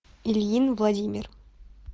ильин владимир